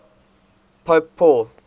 pope paul